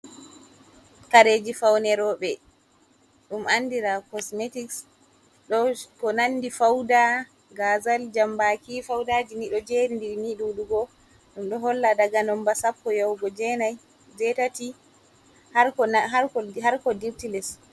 Kareji faune roɓe ɗum andira bei kosmetiks ko nandi pauda, gazal, jambaki, paudajini ɗo jeri nda ɗi ni ɗuɗugo ɗum ɗo holla daga nomba sappo yahugo jeinai jei tati harko dirti les.